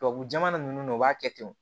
Tubabu jamana ninnu na u b'a kɛ ten